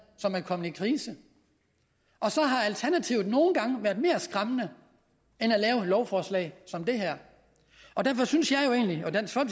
som er kommet i krise og så har alternativet nogle gange været mere skræmmende end at lave et lovforslag som det her derfor synes